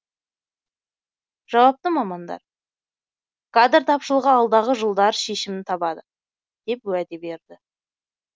жауапты мамандар кадр тапшылығы алдағы жылдары шешімін табады деп уәде берді